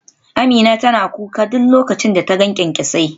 Amina tana kuka duk lokacin da ta ga kyankyasai